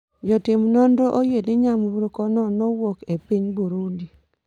Jotim nonro oyie ni nyamburkono nowuok e piny Burundi